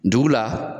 Ndugu la